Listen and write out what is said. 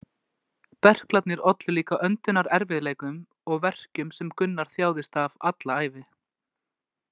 Berklarnir ollu líka öndunarerfiðleikum og verkjum sem Gunnar þjáðist af alla ævi.